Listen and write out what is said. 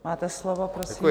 Máte slovo, prosím.